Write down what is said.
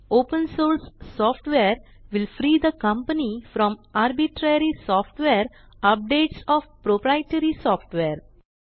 open source software will free the company from arbitrary software updates O F proprietary software